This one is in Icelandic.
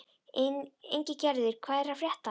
Ingigerður, hvað er að frétta?